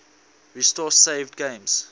restore saved games